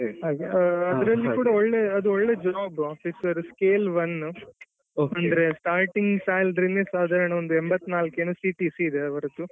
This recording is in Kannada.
ಹಾಗೆ ಅದ್ರಲ್ಲಿ ಕೂಡ ಅದು ಒಳ್ಳೆ job officer scale one ಅಂದ್ರೆ starting salary ನೇ ಸಾಧಾರಣ ಒಂದು ಎಂಬತ್ನಾಲ್ಕು ಏನೊ CPC ಏನೋ ಇದೆ ಅವರದ್ದು.